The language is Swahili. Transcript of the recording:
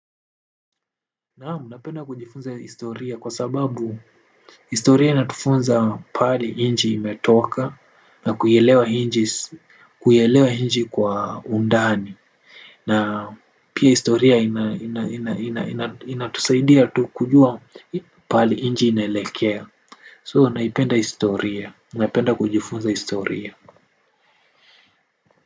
Naam, napenda kujifunza historia kwa sababu historia inatufunza pahali inji imetoka na kuielewa inji kwa undani. Na pia historia inatusaidia tu kujua pahali inji inelekea So, naipenda historia, napenda kujifunza historia.